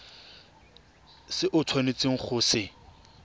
se o tshwanetseng go se